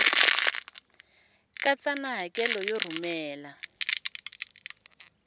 katsa na hakelo yo rhumela